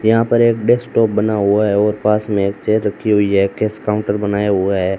यहां पर एक डेस्कटॉप बना हुआ ह और पास में एक चेयर रखी हुई है कैश काउंटर बनाया हुआ है।